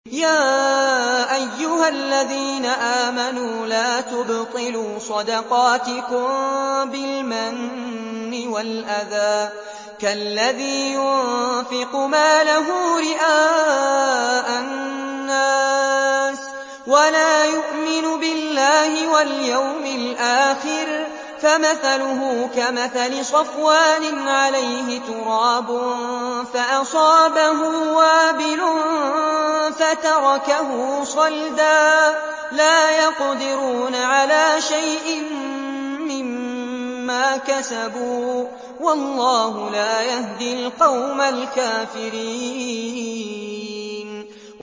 يَا أَيُّهَا الَّذِينَ آمَنُوا لَا تُبْطِلُوا صَدَقَاتِكُم بِالْمَنِّ وَالْأَذَىٰ كَالَّذِي يُنفِقُ مَالَهُ رِئَاءَ النَّاسِ وَلَا يُؤْمِنُ بِاللَّهِ وَالْيَوْمِ الْآخِرِ ۖ فَمَثَلُهُ كَمَثَلِ صَفْوَانٍ عَلَيْهِ تُرَابٌ فَأَصَابَهُ وَابِلٌ فَتَرَكَهُ صَلْدًا ۖ لَّا يَقْدِرُونَ عَلَىٰ شَيْءٍ مِّمَّا كَسَبُوا ۗ وَاللَّهُ لَا يَهْدِي الْقَوْمَ الْكَافِرِينَ